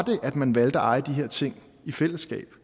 at man valgte at eje de her ting i fællesskab